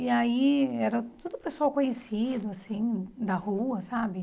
E aí era todo o pessoal conhecido, assim, da rua, sabe?